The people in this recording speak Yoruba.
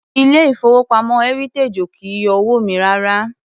Ilé ìfowópamọ́ Heritage ò kì í yọ owó mi rárá.